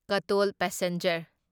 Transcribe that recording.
ꯀꯇꯣꯜ passenger